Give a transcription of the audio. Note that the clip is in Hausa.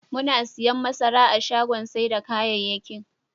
Muna siyan masara a shagon sai da kayayyakin.